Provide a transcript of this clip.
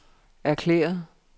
erklæret